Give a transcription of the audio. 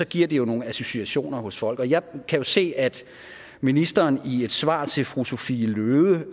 giver det jo nogle associationer hos folk og jeg kan jo se at ministeren i et svar til fru sophie løhde